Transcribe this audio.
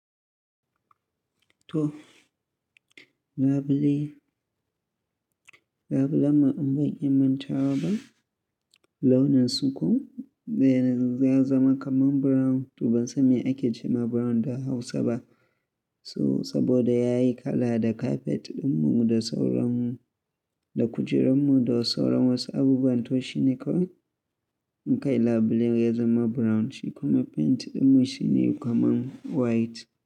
To, labule, labulen ma in ban iya mantawaba launin su koh, ya zama kaman brown. Toh ban san me ake ce ma brown da Hausa ba. So saboda yayi kala da carpet ɗinmu da sauran, da kujerunmu da sauran wasu abubuwan to shi ne ko, mu kai labule ya zama brown shi kuma paint ɗinmu shi ne kaman white.